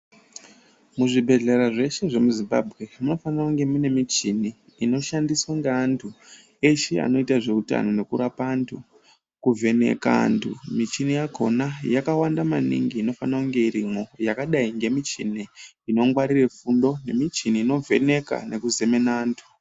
Muzvibhedhlera zveshe zvemuZimbabwe ,munofanira kunge mune michini, inoshandiswa ngeantu, eshe anoita zveutano nekurapa antu, kuvheneka antu. Michini yakhona, yakawanda maningi unofana kunge irimwo, yakadai ngemichini, inongwarire fundo, nemichini inovheneka, nekuzemena antu.